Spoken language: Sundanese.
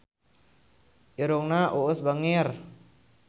Irungna Uus bangir